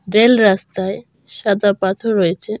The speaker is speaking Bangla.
রেল রাস্তায় সাদা পাথর রয়েছে।